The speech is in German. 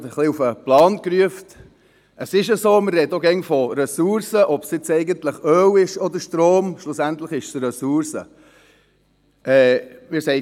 Wir sprechen dauernd von Ressourcen, ob es sich nun um Öl oder Strom handelt – schliesslich ist es eine Ressource.